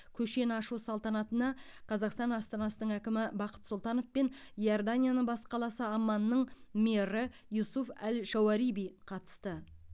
көшені ашу салтанатына қазақстан астанасының әкімі бақыт сұлтанов пен иорданияның бас қаласы амманның мэрі юсуф әл шауариби қатысты